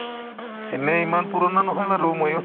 এনে ইমান পুৰণা নহয় বাৰু ময়ো